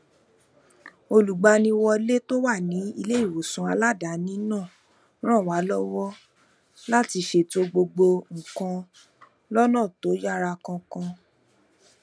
olugbaniwọle tó wà ní iléìwòsàn aladaani náà ràn wá lówó láti ṣètò gbogbo nǹkan lónà tó yára kánkán